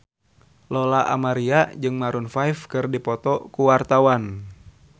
Lola Amaria jeung Maroon 5 keur dipoto ku wartawan